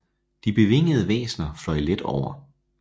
De bevingede væsener fløj let over